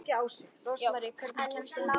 Rósmarý, hvernig kemst ég þangað?